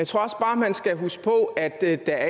tror også bare man skal huske på at der